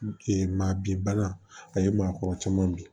maa bin bana a ye maakɔrɔ caman min